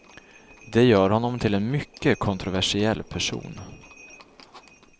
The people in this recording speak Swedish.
Det gör honom till en mycket kontroversiell person.